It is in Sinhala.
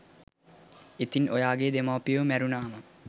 ඉතින් ඔයාගෙ දෙමාපියො මැරුණාම